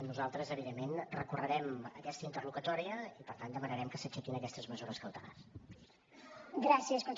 nosaltres evidentment recorrerem aquesta interlocutòria i per tant demanarem que s’aixequin aquestes mesures cautelars